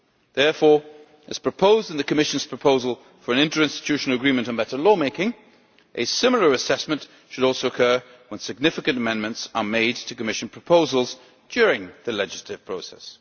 Therefore, as outlined in the Commission's proposal for an interinstitutional agreement on better law making, a similar assessment should also occur when significant amendments are made to Commission proposals during the legislative process.